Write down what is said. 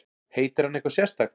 Heitir hann eitthvað sérstakt?